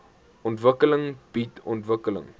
ontwikkeling bied ontwikkeling